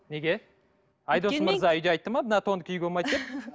неге айдос мырза үйде айтты ма мына тонды киюге болмайды деп